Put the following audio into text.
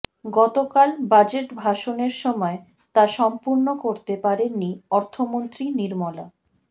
গতকাল বাজেট ভাষণের সময় তা সম্পূর্ণ করতে পারেননি অর্থমন্ত্রী নির্মলা